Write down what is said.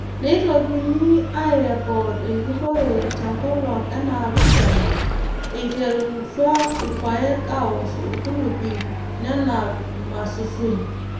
Neitokini aairrekod enjurrore tenkolong enaapishana eiterutwa irpaek aawosh irkulupi nenap mmasusun.